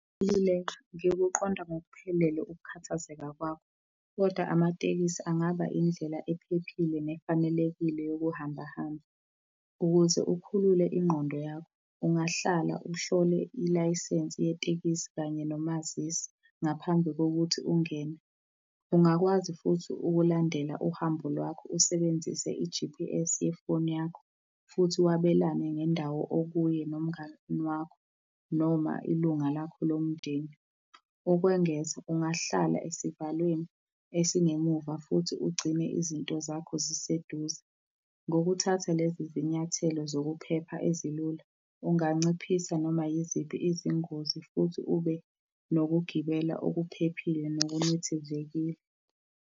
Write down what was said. ngikuqonda ngokuphelele ukukhathazeka kwakho, kodwa amatekisi angaba indlela ephephile, nefanelekile yokuhamba hamba. Ukuze ukhulule ingqondo yakho, ungahlala uhlole ilayisensi yetekisi kanye nomazisi ngaphambi kokuthi ungene. Ungakwazi futhi ukulandela uhambo lwakho usebenzise i-G_P_S yefoni yakho, futhi wabelane ngendawo okuyo nomngani wakho, noma ilunga lakho lomndeni. Ukwengeza ungahlala esivalweni esingemuva, futhi ugcine izinto zakho ziseduze. Ngokuthatha lezizinyathelo zokuphepha ezilula, unganciphisa noma yiziphi izingozi, futhi ube nokugibela okuphephile, nokunethezekile.